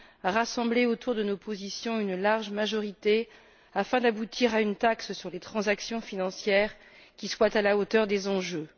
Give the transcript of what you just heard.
à rassembler autour de nos positions une large majorité afin d'aboutir à une taxe sur les transactions financières qui soit à la hauteur des enjeux.